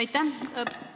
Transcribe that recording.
Aitäh!